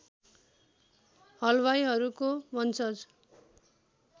हलवाईहरूको वंशज